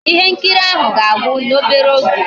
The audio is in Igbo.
Ihe nkiri ahụ ga-agwu n'obere oge